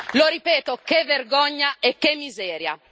Lo ripeto, che vergogna e che miseria!